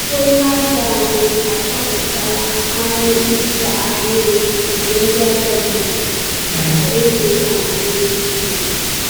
“Onye ajọ ahụ achọpụtala anụ ịsa ahịrị nke ndị ajọ mmadụ,” ka eze amamihe kwuru.